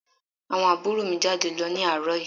Àwọn àbúrò mi jáde lọ ní àárọ̀ yìí